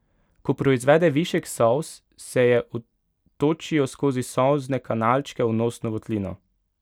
Ko proizvede višek solz, se je odtočijo skozi solzne kanalčke v nosno votlino.